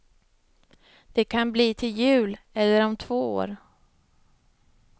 Det kan bli till jul eller om två år.